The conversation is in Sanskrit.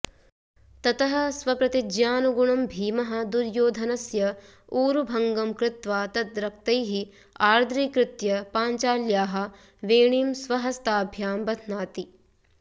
ततः स्वप्रतिज्ञानुगुणं भीमः दुर्योधनस्य ऊरुभङ्गम् कृत्वा तद्रक्तैः आर्द्रीकृत्य पाञ्चाल्याः वेणीं स्वहस्ताभ्यां बध्नाति